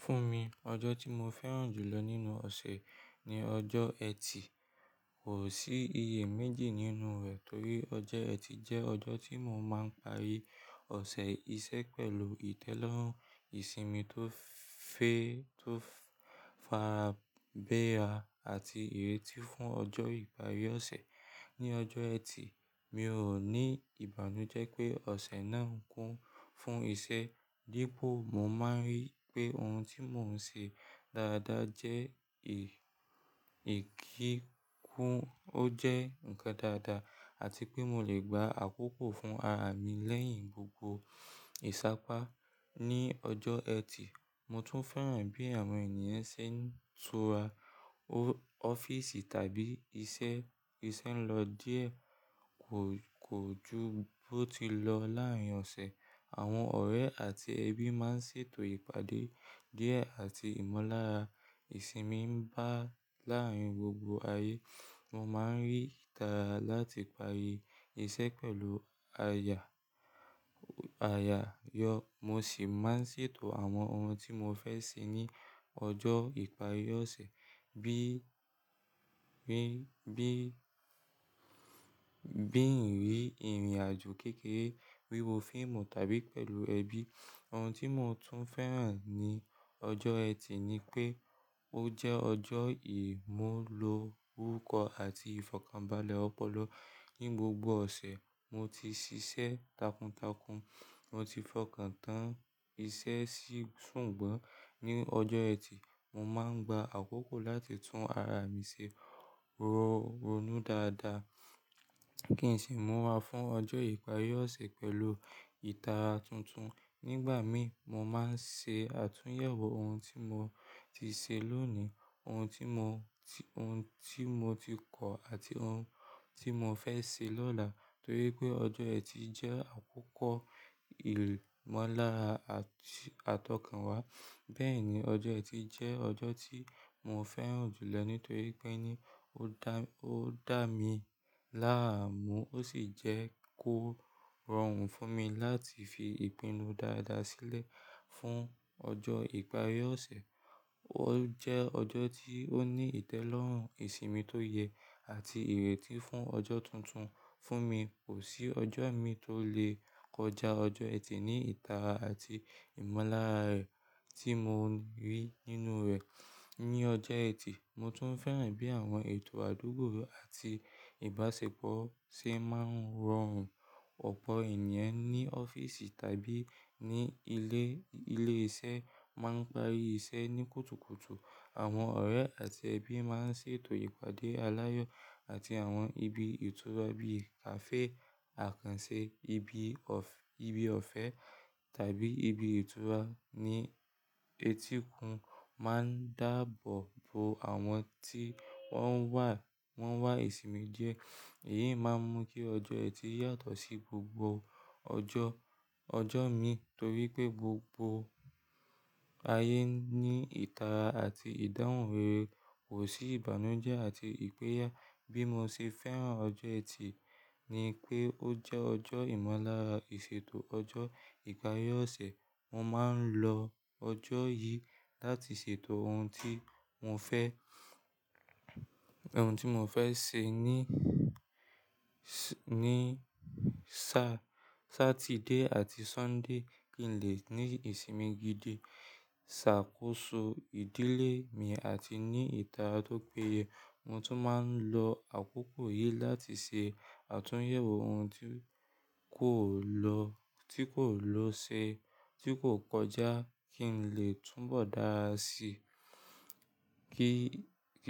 Fún mi, ọjọ́ tí mo fẹ́ràn jù lọ nínú ọ̀ṣẹ̀ ni ọjọ́ ẹtì. Kò sí iye méjì nínú rẹ̀ torí ọjọ́ ẹtì jẹ́ ọjọ́ tí mo máa ń parí ọ̀sẹ̀ isẹ́ pẹ̀lú ìtẹ́lọ́rùn ìsimi tó fe, tó farabẹ́ẹra àti ìrètí fún ọjọ́ ìparí ọ̀ṣẹ̀. Ni ọjọ́ ẹtì, mi ò ní ìbànújẹ́ pé ọ̀sẹ̀ náà ń kún fún isẹ́ dípò mo máa ń rí pé ohun tí mò ń se dáadáa jẹ́ ìkíkún, ó jẹ́ ǹkan dáadáa àti pé mo lè gba àkókò fún ara mi lẹ́yìn gbogbo ìsápá. Ni ọjọ́ ẹtì, mo tún fẹ́ràn bí àwọn ènìyàn ṣe ń tura ọ́fíìsì tàbí isẹ́ n lọ díẹ̀, kò ju bó ti lọ láàárín ọ̀sẹ̀. Àwọn ọ̀rẹ́ àti ẹbí máa ń ṣètò ìpàdé díẹ̀ àti ìmọ̀lára ìsimi ń bá láàárín gbogbo ayé. Mo máa ń rí ìtara láti parí isẹ́ pẹ̀lú àyàyọ́, mo sì máa ń sètò àwọn ohun tí mo fẹ́ se ní ọjọ́ ìparí ọ̀sẹ̀ bí i rìnrìn-àjò kékeré, wíwo fíìmù tàbí pẹ̀lú ẹbí. Ohun tí mo tún fẹ́ràn ní ọjọ́ ẹtì ni pé ó jẹ́ ọjọ́ ìmúlo orúkọ àti ìfọ̀kànbalẹ̀ ọpọlọ. Ni gbogbo ọ̀sẹ̀ mo ti sisẹ́ takuntakun, mo ti fọkàn tán isẹ́ sí sùgbọ́n ní ọjọ́ ẹtì, mo máa ń gba àkókò láti tún ara mi ṣe ronú dáadáa kí n sì múra fún ọjọ́ ìparí ọ̀sẹ̀ pẹ̀lú ìtara tuntun. Nígbà mí, mo máa ń se àtúnyẹ̀wò ohun tí mo ti se lónìí, ohun tí mo ohun tí mo ti kọ̀ àti ohun tí mo fẹ́ se lọ́la torí pé ọjọ́ ẹtì jẹ́ àkókò ìmọ̀lára àtọ̀kànwá. Bẹ́ẹ̀ ni, ọjọ́ ẹtì jẹ́ ọjọ́ tí mo fẹ́ràn jù lọ nítorí pé ní ó dá mi láàmú ó sì jẹ́ kó rọrùn fún mi láti fi ìpinnu dáadáa sílẹ̀ fún ọjọ́ ìparí ọ̀sẹ̀. Ó jẹ́ ọjọ́ tí ó ní ìtẹ́lọ́rùn ìsimi tó yẹ àti ìrètí fún ọjọ́ tuntun. Fún mi, kò sí ọjọ́ mi tó lè kọjá ọjọ́ ẹtì ní ìtara àti ìmọ̀lára rẹ̀ tí mo rí nínú rẹ̀. Ni ọjọ́ ẹtì, mo tún fẹ́ràn bí àwọn ètò àdúgbò àti ìbáṣepọ̀ ṣe máa ń rọrùn. Ọ̀pọ̀ ènìyàn ní ọ́fíìsì tàbí ní ilé iṣẹ́ máa ń parí iṣẹ́ ní kùtùkùtù. Àwọn ọ̀rẹ́ àti ẹbí máa ń sètò ìpàdé aláyọ̀ àti àwọn ibi ìtura bíi kàfé, àkànse, ibi ọ̀fẹ́ tàbí ibi ìtura ní etíkun máa ń dàbọ̀ bo àwọn tí wọ́n wà ìsimi jẹ. Èyí máa ń mú kí ọjọ́ ẹtì yàtọ̀ sí gbogbo ọjọ́ mi torí pé gbogbo ayé ní ìtara àti ìdáhùn rere, kò sí ìbànújẹ́ àti ìpẹ́yà. Bí mo ṣe fẹ́ràn ọjọ́ ẹtì ni pé ó jẹ́ ọjọ́ ìmọ̀lára ìsètò ọjọ́ ìparí ọ̀sẹ̀. Mo máa ń lo ọjọ́ yìí láti ṣètò ohun tí mò ń fẹ́ se ní Sátidé àti Sọ́ńdè kí n lè ní ìsimi gidi, ṣàkóso ìdílé mi àti ní ìtara tó péye. Mo tún máa ń lọ àkókò yìí láti se àtúnyẹ̀wò ohun tí kò lọ se tí kò kọjá kí n lè túnbọ̀ dáa sí. Kì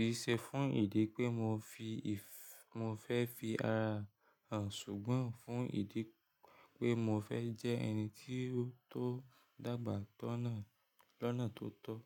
í se fún ìdí pé mo fẹ́ fi ara hàn ṣùgbọ́n fún ìdí pé mo fẹ́ jẹ́ ẹni tó dàgbà lọ́nà tó tọ́.